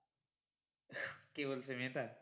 কে বলছে মেয়েটা